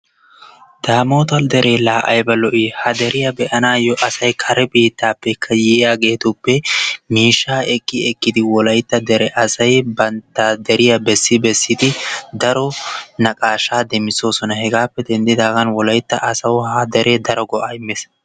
Daamota deree laa ayba lo'ii ha deriya be'anasyo asay kare biittaappe yiyaageetuppe miishshaa eki ekidi wolaytta dere asay bantta deriya bessi bessidi daro naqaashaa demisoos. Hegaappe dendidaagan wolaytta asawu ha deree daro go'aa immees.